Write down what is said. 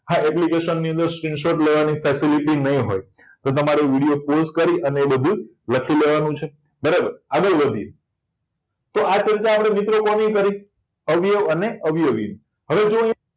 આ application ની અંદર screenshot લેવાની facility નહીં હોય તો તમારે વિડિયો pause એ બધું લખી લેવાનું છે બરાબર આગળ વધીએ તો આ ચર્ચા મિત્રો આપણે કોની કરી અવયવો અને અવયવીને હવે જો અહીંયા